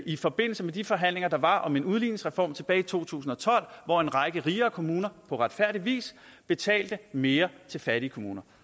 i forbindelse med de forhandlinger der var om udligningsreformen tilbage i to tusind og tolv hvor en række rigere kommuner på retfærdig vis betalte mere til fattige kommuner